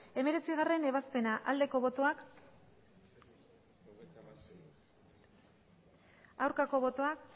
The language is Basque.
hemeretzigarrena ebazpena aldeko botoak aurkako botoak